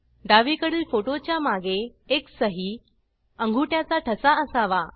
डावीकडील फोटो च्या मागे एक सही अंगुठ्याचा ठसा असावा